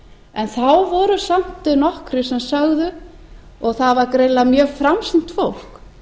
en þá voru samt nokkrir sem sögðu og það var greinilega mjög framsýnt fólk